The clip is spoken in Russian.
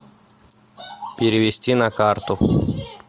перевести на карту